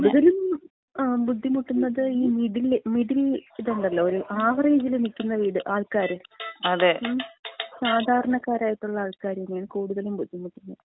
കൂടുതലും ബുദ്ധിമുട്ടുന്നത് ഈ മിഡിൽ, മിഡിൽ ഇതുണ്ടല്ലോ. ഒരു ആവറേജില് നിൽക്കുന്ന വീട്, ആൾക്കാര്, സാധാരണക്കാരായിട്ടുള്ള ആൾക്കാര് തന്നേണ്, കൂടുതലായിട്ടും ബുദ്ധിമുട്ടുന്നത്.